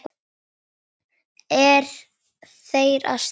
Er þeir að stríða honum?